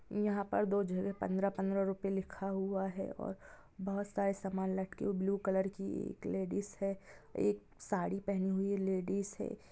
यहाँ पर दो जगह पंद्रह-पंद्रह रूपये लिखा हुआ है और बहुत सारे समान लटके ब्लू कलर की एक लेडीज़ है एक साड़ी पहनी हुई लेडीज है।